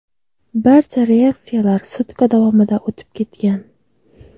Barcha reaksiyalar sutka davomida o‘tib ketgan.